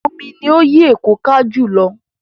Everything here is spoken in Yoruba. Omi ni ó yí Èkó ká jù lọ.